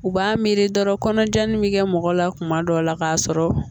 U b'a miiri dɔrɔn kɔnɔja in bɛ kɛ mɔgɔ la kuma dɔw la k'a sɔrɔ